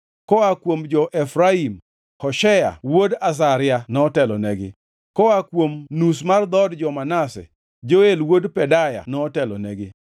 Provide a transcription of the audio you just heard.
koa kuom jo-Efraim: Hoshea wuod Azazia notelonegi; koa kuom nus mar dhood jo-Manase: Joel wuod Pedaya notelonegi;